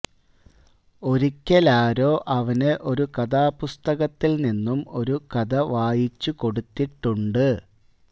ഒരിക്കലാരോ അവന്ന് ഒരു കഥാപുസ്തകത്തിൽ നിന്നും ഒരു കഥ വായിച്ചു കൊടുത്തിട്ടുണ്ട്